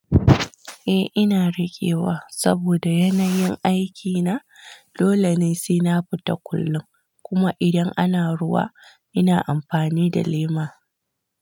Eh ina rekewa saboda yanayin aikina, dole ne sena fita kullum kuma idan ana ruwa ina amfani da lema.